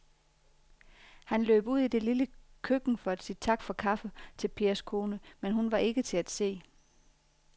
Han løb ud i det lille køkken for at sige tak for kaffe til Pers kone, men hun var ikke til at se.